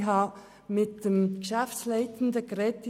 Ich habe mit der Geschäftsleitung gesprochen.